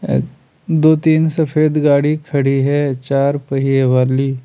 दो तीन सफेद गाड़ी खड़ी है चार पहिए वाली--